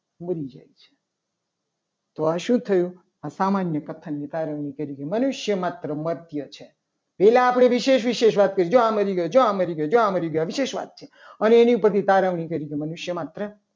મરી જાય છે. તો આ શું થયું આ સામાન્ય કથનની તારવણી કરી કે મનુષ્ય માત્ર મધ્ય છે. પહેલા આપણે વિશેષ વિશેષ વાત કરી. જો આ મરી ગઈ જો આ મરી ગઈ જો આ મરી ગઈ આ વિશેષ વાત છે. અને એની પછી તારવણી કરી કે મનુષ્ય માત્ર